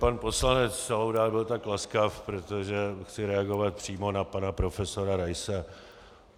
Pan poslanec Laudát byl tak laskav, protože chci reagovat přímo na pana profesora Raise.